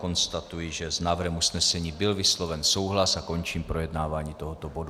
Konstatuji, že s návrhem usnesení byl vysloven souhlas, a končím projednávání tohoto bodu.